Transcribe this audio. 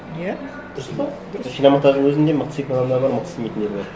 иә дұрыс па дұрыс шиномонтаждың өзінде мықты істейтін адамдар бар мықты істемейтіндер бар